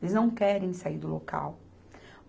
Eles não querem sair do local.